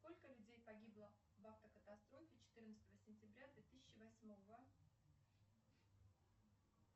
сколько людей погибло в автокатастрофе четырнадцатого сентября две тысячи восьмого